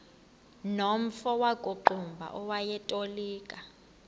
nomfo wakuqumbu owayetolika